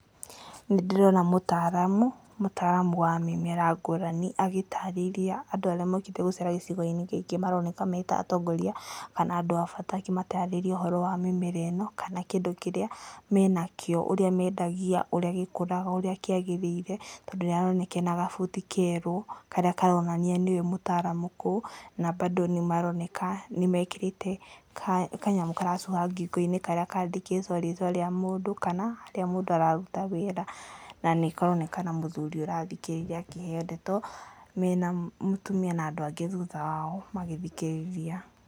Nĩ ndĩrona mũtaaramu, mũtaaramu wa mĩmera ngũrani agĩtarĩria andũ arĩa mokĩte gũcera gĩcigo-inĩ gĩkĩ maroneka me ta atongoria kana andũ a bata akĩmatarĩria ũhoro wa mĩmera ĩno kana kĩndũ kĩrĩa menakĩo, ũrĩa mendagia, ũrĩa gĩkũraga ũrĩa kĩagĩrĩire tondũ nĩ aroneka ena gabuti kerũ karĩa karonania nĩwe mũtaaramu kũu, na mbandũ nĩ maroneka nĩmekĩrĩte kanyamũ karacuha ngingo-inĩ karĩa kandĩkĩtwo rĩtwa rĩa mũndũ kana harĩa mũndũ araruta wĩra na nĩkaroneka na mũthũri ũrathikĩrĩria akĩheo ndeto me na mũtumia na andũ angĩ thutha wao magĩthikĩrĩria.